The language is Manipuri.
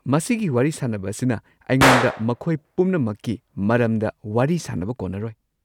ꯃꯁꯤꯒꯤ ꯋꯥꯔꯤ ꯁꯥꯅꯕ ꯑꯁꯤꯅ ꯑꯩꯉꯣꯟꯗ ꯃꯈꯣꯏ ꯄꯨꯝꯅꯃꯛꯀꯤ ꯃꯔꯝꯗ ꯋꯥꯔꯤ ꯁꯥꯟꯅꯕ ꯀꯣꯟꯅꯔꯣꯏ꯫